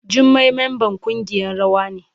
Jummai mamban kungiyan rawa ne.